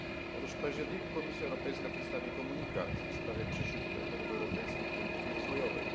Otóż w październiku Komisja Europejska przedstawi komunikat w sprawie przyszłych priorytetów europejskiej polityki rozwojowej.